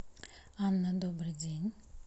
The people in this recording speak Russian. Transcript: анна добрый день